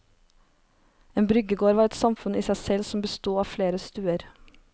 En bryggegård var et samfunn i seg selv som bestod av flere stuer.